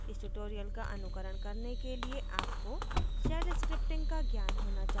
इस tutorial का अनुकरण करने के लिए आपको shell scripting का ज्ञान होना चाहिए